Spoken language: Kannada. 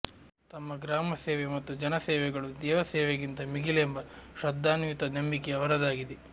ತಮ್ಮ ಗ್ರಾಮಸೇವೆ ಮತ್ತು ಜನಸೇವೆಗಳು ದೇವಸೇವೆಗಿಂತ ಮಿಗಿಲೆಂಬ ಶ್ರದ್ಧಾನ್ವಿತ ನಂಬಿಕೆ ಅವರದಾಗಿದೆ